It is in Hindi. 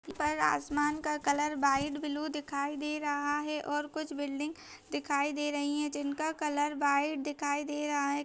ऊपर आसमान का कलर वाइट ब्लू दिखाई दे रहा है और कुछ बिलिडिंग दिखाई दे रहीं हैं जिनका कलर वाइट दिखाई दे रहा है।